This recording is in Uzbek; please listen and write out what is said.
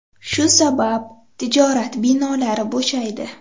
Shu sabab tijorat binolari bo‘shaydi.